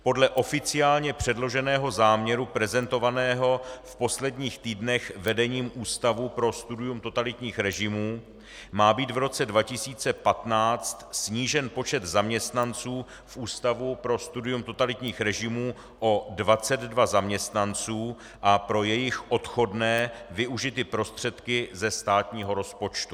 Podle oficiálně předloženého záměru prezentovaného v posledních týdnech vedením Ústavu pro studium totalitních režimů má být v roce 2015 snížen počet zaměstnanců v Ústavu pro studium totalitních režimů o 22 zaměstnanců a pro jejich odchodné využity prostředky ze státního rozpočtu.